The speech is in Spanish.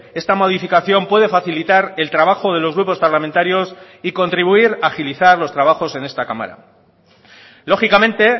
esta modificación puede facilitar el trabajo de los grupos parlamentarios y contribuir a agilizar los trabajos en esta cámara lógicamente